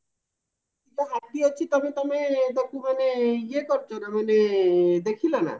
ହାତୀ ଅଛି ତମେ ତମେ ତାକୁ ମାନେ ଇଏ କରିଚ ନା ଦେଖିଲ ନା